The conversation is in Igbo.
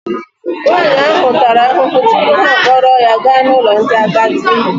Nwaanyị ahụ tara ahụhụ tupu ha akpọrọ ya gaa n'ụlọ ndị agadi.